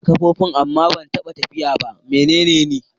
Ina da kafafu amma ban taɓa tafiya ba. Mene ne ni?